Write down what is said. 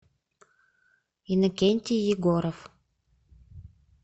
иннокентий егоров